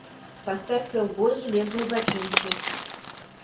поставь хеллбой железные ботинки